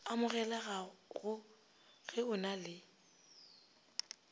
amogelago ge o na le